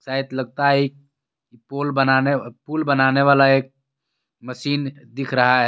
सायद लगता हे पुल बनाने अ पुल बनाने वाला एक मशीन दिख रहा हे.